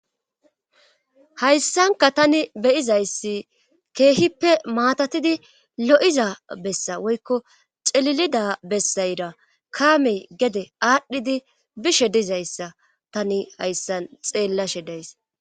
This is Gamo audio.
hayssanka tani beyizayssi keehippe maatatidi lo7iza bessa woykko celilida bessayra kaamey gede aadhdhidi bishe dizayssa tani hayssan xeellashe days